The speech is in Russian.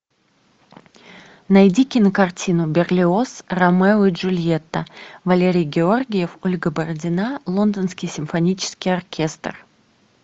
найди кинокартину берлиоз ромео и джульетта валерий георгиев ольга бородина лондонский симфонический оркестр